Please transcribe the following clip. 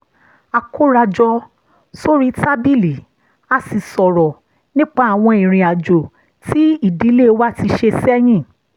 a kóra jọ sórí tábìlì a sì sọ̀rọ̀ nípa àwọn ìrìn àjò tí ìdílé wa ti ṣe sẹ́yìn